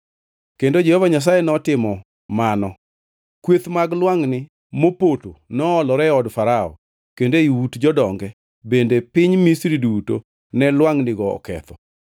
Kendo Jehova Nyasaye notimo mano. Kweth mag lwangʼni mopoto noolore e od Farao, kendo ei ut jodonge bende piny Misri duto ne lwangʼnigo oketho.